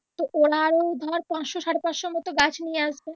তো ওরা আরো ধর পাঁচশো সাড়ে পাঁচশোর মত গাছ নিয়ে আসবে।